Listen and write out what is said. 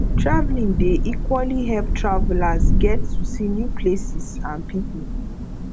traveling dey equally help travelers get to see new places and people